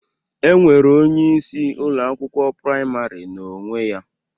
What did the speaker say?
E nwere onyeisi Ụlọ akwụkwọ praịmarị na onwe ya